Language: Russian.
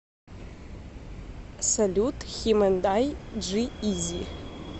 салют хим энд ай джи изи